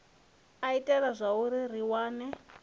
a itea zwauri ri wane